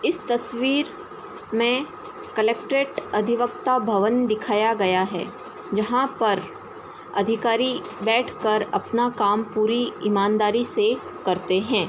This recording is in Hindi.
इस तस्वीर में कलेक्ट्रेट अधिवक्ता भवन दिखाया गया है जहां पर अधिकारी बैठ कर अपना काम पूरी ईमानदारी से करते हैं।